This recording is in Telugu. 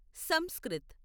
సంస్కృత్